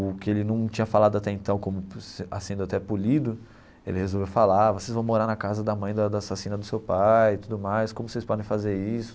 O que ele não tinha falado até então como, se a sendo até polido, ele resolveu falar, vocês vão morar na casa da mãe da da assassina do seu pai, tudo mais como vocês podem fazer isso.